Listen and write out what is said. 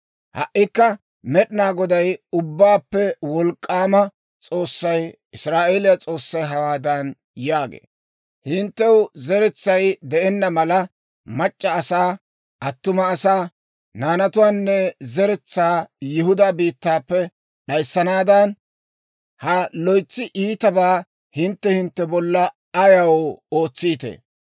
«Ha"ikka Med'inaa Goday, Ubbaappe Wolk'k'aama S'oossay, Israa'eeliyaa S'oossay, hawaadan yaagee; ‹Hinttew zeretsay de'enna mala, mac'c'a asaa, attuma asaa, naanatuwaanne zeretsaa Yihudaa biittaappe d'ayissanaadan, ha loytsi iitabaa hintte hintte bolla ayaw ootsiitee?